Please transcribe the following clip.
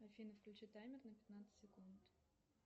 афина включи таймер на пятнадцать секунд